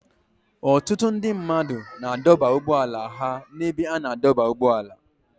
Ọtụtụ ndị mmadụ na-adọba ụgbọala ha n'ebe a na-adọba ụgbọala.